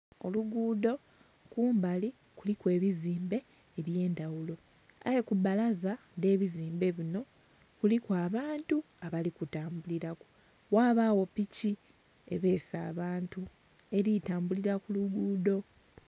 Oluguudo kumbali kuliku ebizimbe ebyendhawulo aye kubbalaza dhebizimbe bino kuliku abantu abali kutambuliraku ghabawo piki ebeese abantu eri kutambulira kuluguudo